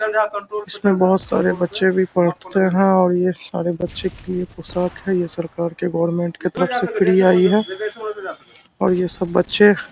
इसमें बोहोत सारे बच्चे भी पढ़ते है और ये सारे बच्चे के लिए पोशाक है ये सरकार के गवर्नमेंट की तरफ से फ्री आई है और ये सब बच्चे --